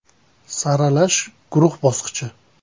Saralash guruh bosqichi.